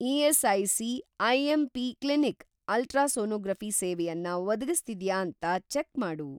ESIC. IMP. Clinic ultrasonography ಸೇವೆಯನ್ನ ಒದಗಿಸ್ತಿದ್ಯಾ ಅಂತ ಚೆಕ್‌ ಮಾಡು.